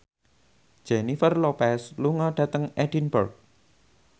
Jennifer Lopez lunga dhateng Edinburgh